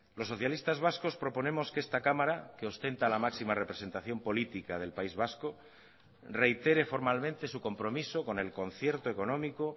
los socialistas vascos proponemos que esta cámara que ostenta la máxima representación política del país vasco reitere formalmente su compromiso con el concierto económico